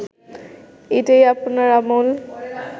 এটাই আপনার আমল